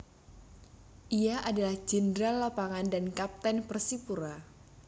Ia adalah jenderal lapangan dan kapten Persipura